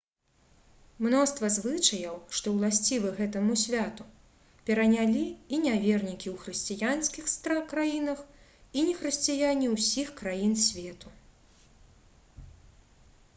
мноства звычаяў што ўласцівы гэтаму святу перанялі і нявернікі ў хрысціянскіх краінах і нехрысціяне ўсіх краін свету